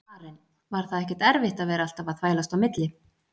Karen: Var það ekkert erfitt að vera alltaf að þvælast á milli?